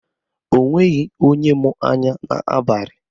O nweghị onye mụ anya n'abalị.